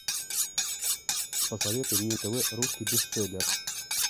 посоветуй мне на тв русский бестселлер